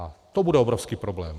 A to bude obrovský problém.